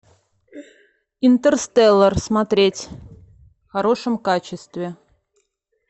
интерстеллар смотреть в хорошем качестве